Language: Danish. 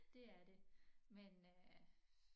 Det er det men øh